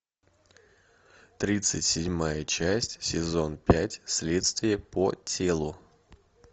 тридцать седьмая часть сезон пять следствие по телу